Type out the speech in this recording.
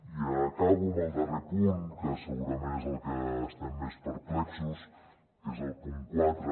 i acabo amb el darrer punt que segurament és amb el que estem més perplexos que és el punt quatre